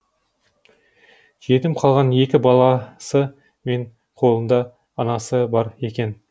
жетім қалған екі баласы мен қолында анасы бар екен